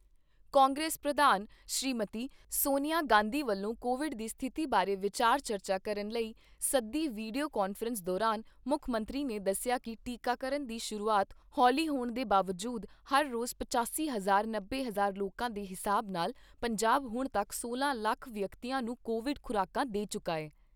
ਕਾਂਗਰਸ ਪ੍ਰਧਾਨ ਸ੍ਰੀਮਤੀ ਸੋਨੀਆ ਗਾਂਧੀ ਵੱਲੋਂ ਕੋਵਿਡ ਦੀ ਸਥਿਤੀ ਬਾਰੇ ਵਿਚਾਰ ਚਰਚਾ ਕਰਨ ਲਈ ਸੱਦੀ ਵੀਡੀਓ ਕਾਨਫਰੰਸ ਦੌਰਾਨ ਮੁੱਖ ਮੰਤਰੀ ਨੇ ਦੱਸਿਆ ਕਿ ਟੀਕਾਕਰਨ ਦੀ ਸ਼ੁਰੂਆਤ ਹੋਲੀ ਹੋਣ ਦੇ ਬਾਵਜੂਦ ਹਰ ਰੋਜ਼ ਪਚਾਸੀ ਹਜ਼ਾਰ ਨੱਬੇ ਹਜ਼ਾਰ ਲੋਕਾਂ ਦੇ ਹਿਸਾਬ ਨਾਲ ਪੰਜਾਬ ਹੁਣ ਤੱਕ ਸੋਲਾਂ ਲੱਖ ਵਿਅਕਤੀਆਂ ਨੂੰ ਕੋਵਿਡ ਖੁਰਾਕਾਂ ਦੇ ਚੁੱਕਾ ਐ।